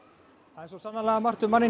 það er sannarlega margt um manninn